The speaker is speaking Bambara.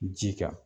Ji kan